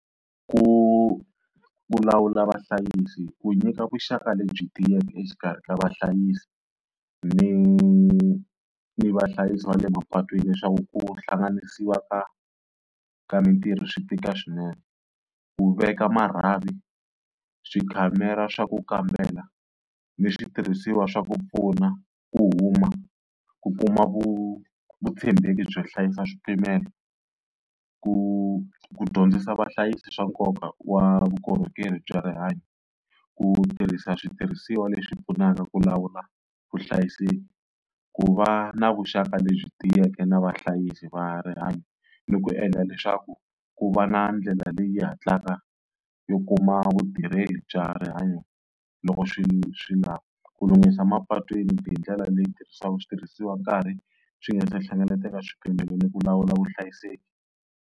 Ku vulavula vahlayisi, ku nyika vuxaka lebyi tiyeke exikarhi ka vahlayisi ni ni vahlayisi va le mapatwini leswaku ku hlanganisiwa ka ka mitirho swi tika swinene. Ku veka marhavi swi khamera swa ku kambela ni switirhisiwa swa ku pfuna, ku huma, ku kuma vuvutshembeki byo hlayisa switimela, ku dyondzisa vahlayisi swa nkoka wa vukorhokeri bya rihanyo. Ku tirhisa switirhisiwa leswi pfunaka ku lawula vuhlayiseki, ku va na vuxaka lebyi tiyeke na vahlayisi va rihanyo ni ku endla leswaku ku va na ndlela leyi hatlaka yo kuma vutirheli bya rihanyo loko swi swi lava. Ku lunghisa mapatwini hindlela leyi tirhisaka switirhisiwa nkarhi swi nga ta hlengeletela swipimelo ni ku lawula vuhlayiseki.